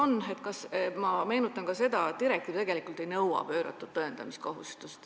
Ma meenutan ka seda, et Euroopa Liidu rahapesudirektiiv tegelikult ei nõua pööratud tõendamiskohustust.